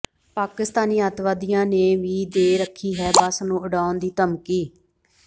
ਪਾਕਿਸਤਾਨੀ ਅੱਤਵਾਦੀਆਂ ਨੇ ਵੀ ਦੇ ਰੱਖੀ ਹੈ ਬੱਸ ਨੂੰ ਉਡਾਉਣ ਦੀ ਧਮਕੀ